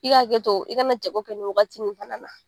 I k'a hakɛ to i kana jago kɛ nin wagati nin fana na